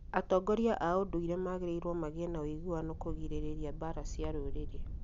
Atongoria a ũndũire magĩirwo magĩe na ũiguano kũgirĩrĩrĩa mbara cia rũrĩrĩ